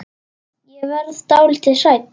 Ég verð dálítið hrædd.